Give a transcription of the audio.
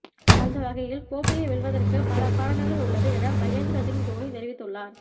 அந்த வகையில் கோப்பையை வெல்வதற்கு பல காரணங்கள் உள்ளது என மகேந்திர சிங்க் தோனி தெரிவித்து உள்ளார்